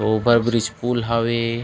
Over bridge पुल् हवे।